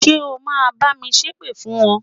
Ṣé o ma bá mi ṣépè fún wọn?